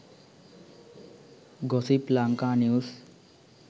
gossip lanka news